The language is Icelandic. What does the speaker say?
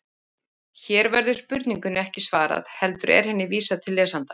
Hér verður spurningunni ekki svarað heldur er henni vísað til lesandans.